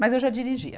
Mas eu já dirigia.